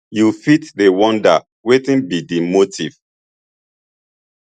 you fit dey wonder wetin be di motive